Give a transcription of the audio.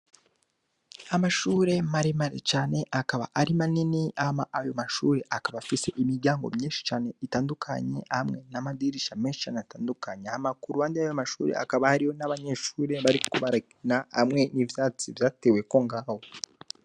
Amashure maremare cane akaba ari manini, Hama ayo mashure akaba afise imiryango myishi cane itandukanye amwe n'amadirisha meshi cane kuruhande yayo mashure hakaba hariho abanyeshure bariko barakina hamwe n'ivyatsi vyateweko ngaho.